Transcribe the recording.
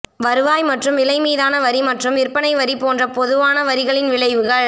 வருவாய் மற்றும் விலை மீதான வரி மற்றும் விற்பனை வரி போன்ற பொதுவான வரிகளின் விளைவுகள்